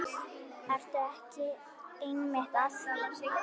Ertu ekki einmitt að því?